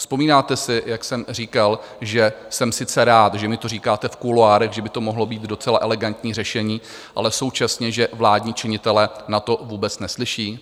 Vzpomínáte si, jak jsem říkal, že jsem sice rád, že mi to říkáte v kuloárech, že by to mohlo být docela elegantní řešení, ale současně že vládní činitelé na to vůbec neslyší?